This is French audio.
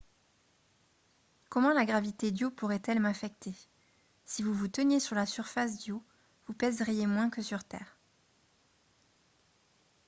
comment la gravité d’io pourrait-elle m’affecter ? si vous vous teniez sur la surface d’io vous pèseriez moins que sur terre